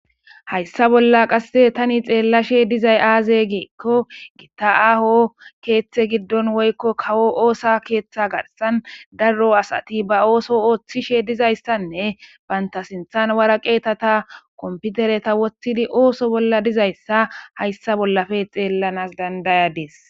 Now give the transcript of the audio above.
Hayssa bolla qassi thani xeellashe dizay aazee giikko giththa aaho keeththee giddon woykko oosaa keeththaa garssan daro asathi ba ooso ooththishee dizayssanne banththa sinththan wareqatheta komppitheretha woththidi ooso bolla dizayssa hayssa bollpe xeellanas danddayades.